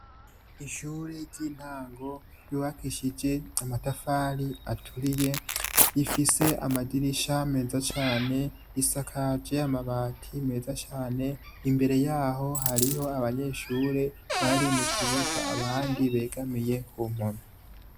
Ishure ryintango ryubakishije amatafari aturiye rifise amadirisha meza cane risakaje amabati meza cane imbere yaho hariho abanyeshure bari mukibuga abandi begamiye kumpome